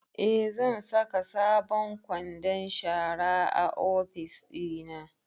Eh, zan saka sabon kwandon shara a ofis ɗina